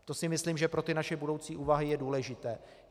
To si myslím, že pro ty naše budoucí úvahy je důležité.